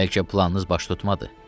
Bəlkə planınız baş tutmadı.